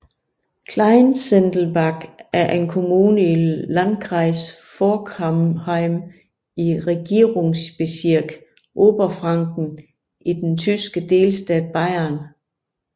Kleinsendelbach er en kommune i Landkreis Forchheim i Regierungsbezirk Oberfranken i den tyske delstat Bayern